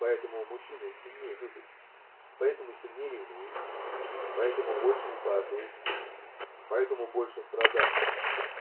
поэтому мужчины сильнее любят поэтому сильнее ревнует поэтому больше ухаживает поэтому больше страдает